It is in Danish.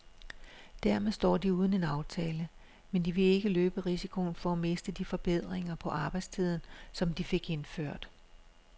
Dermed står de uden en aftale, men de vil ikke løbe risikoen for at miste de forbedringer på arbejdstiden, som de fik indført.